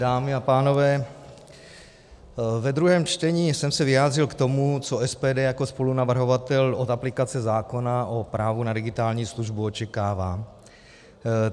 Dámy a pánové, ve druhém čtení jsem se vyjádřil k tomu, co SPD jako spolunavrhovatel od aplikace zákona o právu na digitální službu očekává.